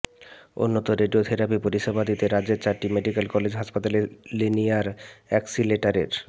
উন্নত রেডিয়োথেরাপি পরিষেবা দিতে রাজ্যের চারটি মেডিক্যাল কলেজ হাসপাতালে লিনিয়ার অ্যাক্সিলারেটর